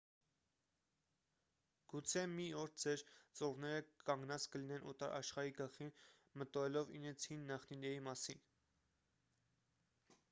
գուցե մի օր ձեր ծոռները կանգնած կլինեն օտար աշխարհի գլխին մտորելով իրենց հին նախնիների մասին